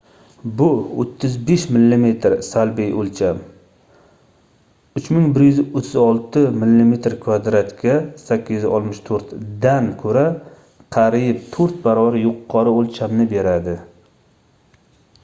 bu 35 mm salbiy o'lcham 3136 mm² ga 864 dan ko'ra qariyb to'rt baravar yuqori o'lchamni beradi